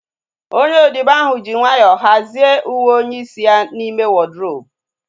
Onye odibo ahu ji nwayọọ hazie uwe onye isi ya n'ime wọdrobu